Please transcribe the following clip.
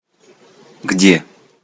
где